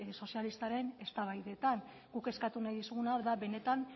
sozialistaren eztabaidetan guk eskatu nahi dizuguna da benetan